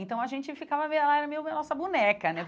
Então, a gente ficava meio... ah ela era meio a nossa boneca, né?